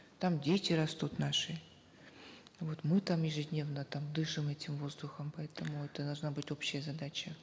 там дети растут наши вот мы там ежедневно там дышим этим воздухом поэтому это должна быть общая задача